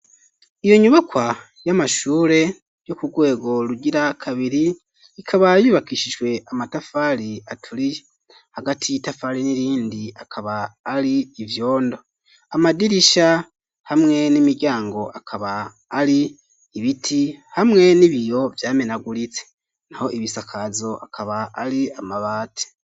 Iyo nyubakwa y'amashure yo ku rwego rugira kabiri. Ikaba yubakishijwe amatafari aturiye hagati y'itafari n'irindi akaba ari ivyondo .Amadirisha hamwe n'imiryango akaba ari ibiti hamwe n'ibiyo vyamenaguritse naho ibisakazo akaba ari amabati.